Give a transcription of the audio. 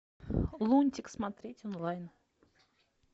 лунтик смотреть онлайн